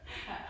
Ja